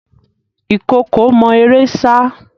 Ìkookò mọ eré sá.